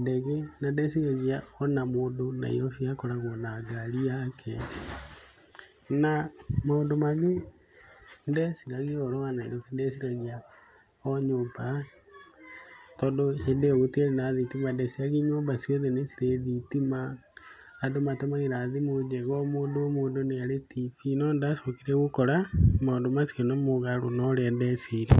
ndege na ndeciragia ona mũndũ Nairobi akoragwo na ngari yake. Na, maũndũ mangĩ ndeciragia ũhoro wa Nairobi ndeciragia o nyũmba tondũ hĩndĩ ĩyo gũtiarĩ na thitima ndeciragi nyũmba ciothe nĩ cirĩ thitima, andũ maũmagĩra thimũ njega o mũndũ o mũndũ nĩ arĩ TV no nĩndacokire gũkora maũndũ macio nĩ mũgarũ na ũrĩa ndeciragia.